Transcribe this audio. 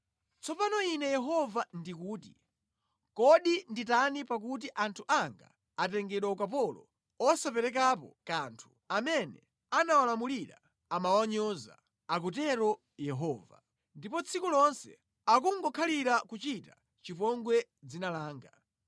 Tsopano Ine Yehova ndikuti, “Kodi nditani pakuti anthu anga atengedwa ukapolo osaperekapo kanthu, amene amawalamulira amawanyoza,” akutero Yehova. “Ndipo tsiku lonse, akungokhalira kuchita chipongwe dzina langa.